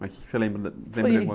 Mas o quê que você lembra da?